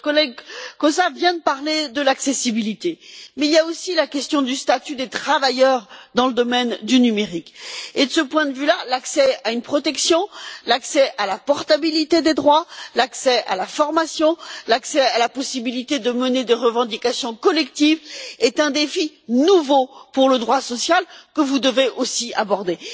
Notre collègue Kósa vient de parler de l'accessibilité, mais il y a aussi la question du statut des travailleurs dans le domaine du numérique, et de ce point de vue là, l'accès à une protection, à la portabilité des droits, à la formation, à la possibilité de mener des revendications collectives, est un défi nouveau pour le droit social que vous devez aussi aborder.